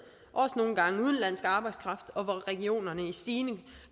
også nogle gange udenlandsk arbejdskraft og at regionerne i stigende